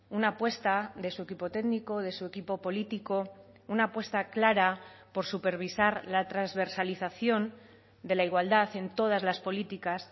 una apuesta de su equipo técnico de su equipo político una apuesta clara por supervisar la transversalización de la igualdad en todas las políticas